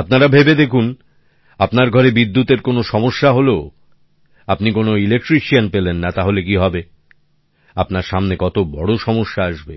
আপনারা ভেবে দেখুন আপনার ঘরে বিদ্যুতের কোনো সমস্যা হল আপনি কোন ইলেকট্রিশিয়ান পেলেন না তাহলে কি হবে আপনার সামনে কত বড় সমস্যা আসবে